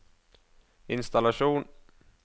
innstallasjon